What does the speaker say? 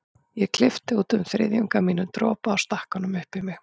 Ég klippti út um þriðjung af mínum dropa og stakk honum upp í mig.